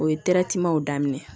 O ye daminɛ ye